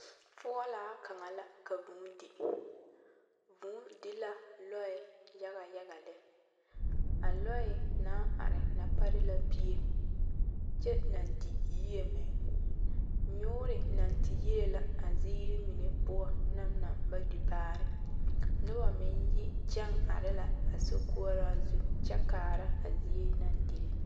Foɔlaa kaŋa la ka vūū di vūū di la lɔɛ yaga yaga lɛ a lɔɛ naŋ are na pare la pie kyɛ naŋ di yie meŋ nyoore naŋ te yie la a ziiri mine poɔ naŋ na ba di baare noba meŋ yi kyɛŋ are la a sokoɔraa zu kyɛ kaara a zie naŋ dire.